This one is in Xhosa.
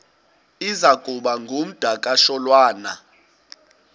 iza kuba ngumdakasholwana